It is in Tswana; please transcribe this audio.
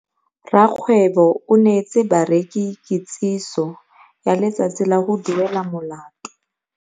Rakgweebô o neetse bareki kitsisô ya letsatsi la go duela molato.